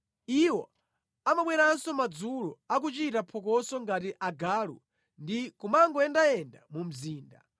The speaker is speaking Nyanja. Iwo amabweranso madzulo akuchita phokoso ngati agalu ndi kumangoyendayenda mu mzinda.